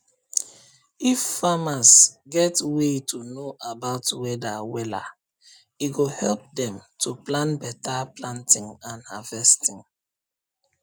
if farmers get way to know about weather wella e go help dem to plan beta planting and harvesting